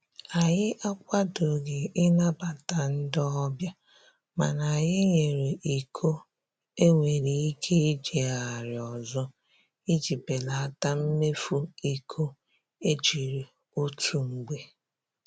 Anyị akwadoghị ịnabata ndị ọbịa mana anyị nyere iko e nwere ike ijigharị ọzọ iji belata mmefu iko e jiri otu mgbe